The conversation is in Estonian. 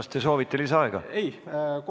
Kas te soovite lisaaega?